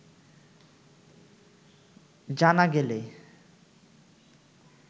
জানা গেলে